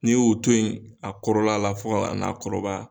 N'i y'u toyi a kɔrɔla la fɔ ka na a kɔrɔbaya.